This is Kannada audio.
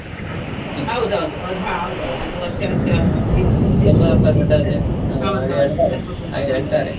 ಅದು ಹಾ ಹೌದೌದು ಅದು ವರ್ಷ ವರ್ಷ ಅದ್ .